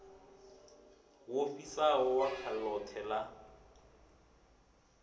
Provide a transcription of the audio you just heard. wo fhisaho ḓaka ḽoṱhe ḽa